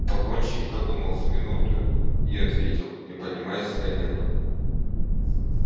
погонщик подумал с минуту и ответил не поднимаясь с колена